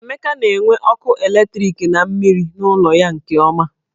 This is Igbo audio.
Emeka na-enwe ọkụ eletriki na mmiri n'ụlọ ya nke ọma.